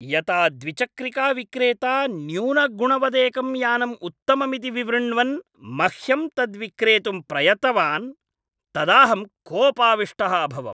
यता द्विचक्रिकाविक्रेता न्यूनगुणवदेकं यानम् उत्तममिति विवृण्वन् मह्यं तद्विक्रेतुं प्रयत्तवान्, तदाऽहं कोपाविष्टः अभवम्।